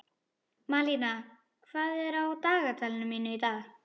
Malína, hvað er á dagatalinu mínu í dag?